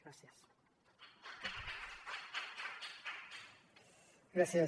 gràcies